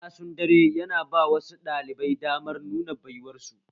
Casun dare yana ba wasu ɗalibai damar nuna baiwar su